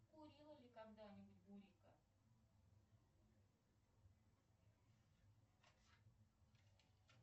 курила ли когда нибудь бурика